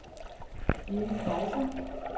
Jill Kejser